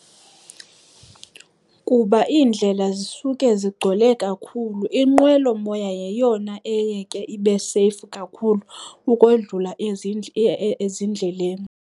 Kuba iindlela zisuke zigcwele kakhulu, inqwelomoya yeyona eye ke ibe seyifu kakhulu ukodlula ezindleleni.